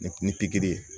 ni pikiri ye